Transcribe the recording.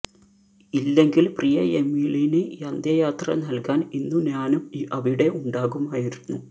ഇല്ലെങ്കിൽ പ്രിയ എമിലിന് അന്ത്യയാത്ര നൽകാൻ ഇന്നു ഞാനും അവിടെ ഉണ്ടാകുമായിരുന്നു